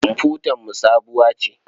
Komfutarmu sabuwa ce.